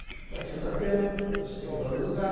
Então aqui você está tendo, você tem que valorizar.